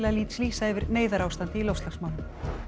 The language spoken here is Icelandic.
lýsa yfir neyðarástandi í loftslagsmálum